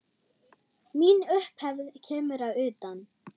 Mín upphefð kemur að utan.